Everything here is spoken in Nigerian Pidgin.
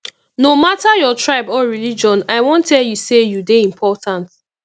no mata your tribe or religion i wan tell you say you dey important